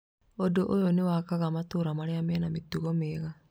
Ũndũ ũyũ nĩ wakaga matũũra marĩa mena mĩtugo mĩega.